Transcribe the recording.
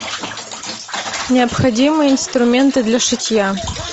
необходимые инструменты для шитья